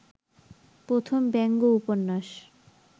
প্রথম ব্যঙ্গ উপন্যাস